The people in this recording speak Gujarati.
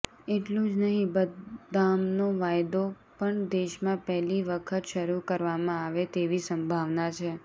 એટલું જ નહીં બદામનો વાયદો પણ દેશમાં પહેલી વખત શરૂ કરવામાં આવે તેવી સંભાવના છે